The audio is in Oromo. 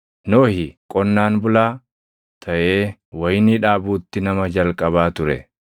Nohi qonnaan bulaa taʼee wayinii dhaabuutti nama jalqabaa ture.